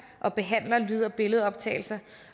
og behandler lyd og billedoptagelser